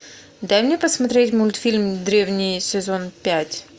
дай мне посмотреть мультфильм древний сезон пять